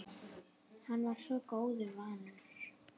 Hann var svo góðu vanur.